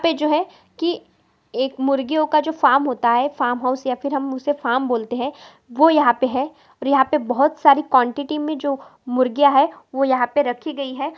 यहाँ जो है की एक मुर्गियों का जो फार्म होता है फार्म हाउस या फिर उसे फार्म बोलते है वो यहाँ पे है और यहाँ पर बहुत सारी क्वानटिटी मे जो मुर्गिया है वो यहाँ पर रखी गयी है।